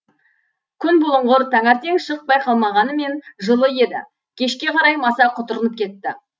күн бұлыңғыр таңертең шық байқалмағанмен жылы еді кешке қарай маса құтырынып кетті